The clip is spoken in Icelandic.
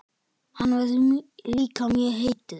Hann verður líka mjög heitur.